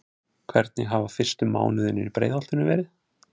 Hvernig hafa fyrstu mánuðirnir í Breiðholtinu verið?